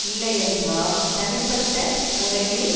இல்லையென்றால் தனிப்பட்ட முறையில்